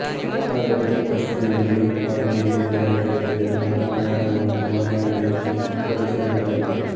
ಆದರೂ ಕಷ್ಟದಿಂದಲೇ ಪಾಂಡಿಗೆ ವಿದಾಯ ಹೇಳಿ ನನ್ನ ಪ್ರಯಾಣವನ್ನು ಮನೆಯ ಕಡೆ ಬೆಳೆಸಬೇಕಾಯಿತು